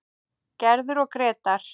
Gerður og Grétar.